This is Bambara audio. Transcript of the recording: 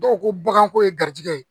Dɔw ko ko baganko ye garijigɛ ye